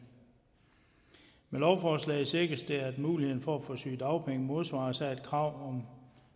med lovforslaget sikres det at muligheden for at få sygedagpenge modsvares af et krav om